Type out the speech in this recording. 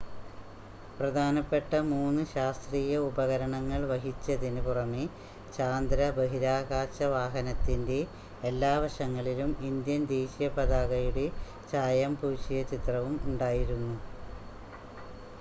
പ്രധാനപ്പെട്ട മൂന്ന് ശാസ്ത്രീയ ഉപകരണങ്ങൾ വഹിച്ചതിന് പുറമെ ചാന്ദ്ര ബഹിരാകാശ വാഹനത്തിൻ്റെ എല്ലാ വശങ്ങളിലും ഇന്ത്യൻ ദേശീയ പതാകയുടെ ചായം പൂശിയ ചിത്രവും ഉണ്ടായിരുന്നു